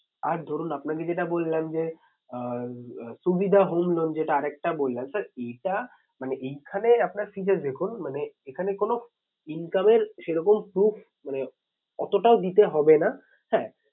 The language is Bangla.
আর ধরুন আপনাকে যেটা বললাম যে আহ সুবিধা home loan যেটা আর একটা বললাম sir এটা মানে এইখানে আপনার features দেখুন মানে এখানে কোনো income এর সেরকম proof মানে এতটাও দিতে হবে না হ্যাঁ